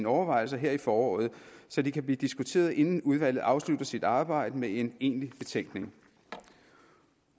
overvejelser her i foråret så de kan blive diskuteret inden udvalget afslutter sit arbejde med en egentlig betænkning